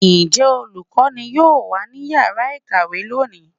njẹ olukọní yọọ wa ní ìyára ikáwe loní?